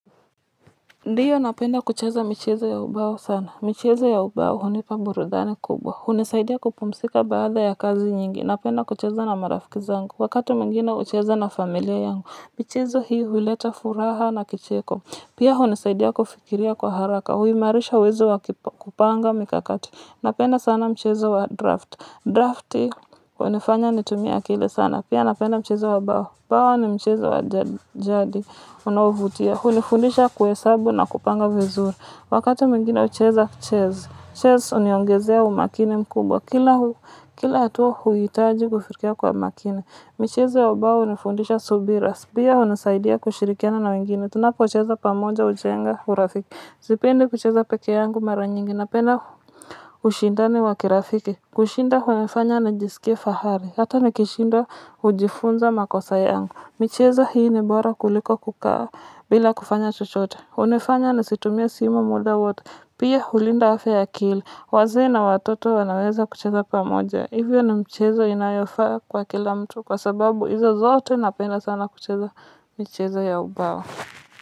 Ndiyo napenda kucheza michezo ya ubao sana. Michezo ya ubao hunipa burudani kubwa. Hunisaidia kupumzika baada ya kazi napenda kucheza na marafiki zangu. Wakati mwingine hucheza na familia yangu michezo hii huleta furaha na kicheko. Pia hunisaidia kufikiria kwa haraka. Huimarisha uwezo wa kupanga mikakati. Napenda sana mchezo wa draft. Drafti hunifanya nitumie akili sana. Pia napenda mchezo wa bao. Bawa ni mchezo wa jadi. Unaovutia. Hunifundisha kuhesabu na kupanga vizuri. Wakati mwingine hucheza chess. Chess huniongezea umakini mkubwa. Kila hatua huhitaji kufikiria kwa makini. Michezo ya ubao hunifundisha subira. Pia hunisaidia kushirikiana na wengine. Tunapo cheza pamoja hujenga urafiki. Sipendi kucheza peke yangu mara nyingi. Napenda ushindani wa kirafiki. Kushinda hunifanya najisikie fahari. Hata nikishindwa hujifunza makosa yangu. Michezo hii ni bora kuliko kukaa. Bila kufanya chochote hunifanya nisitumie simu muda wote pia hulinda afya ya akili wazee na watoto wanaweza kucheza pamoja hivyo ni mchezo inayofaa kwa kila mtu kwa sababu hizo zote napenda sana kucheza michezo ya ubawa.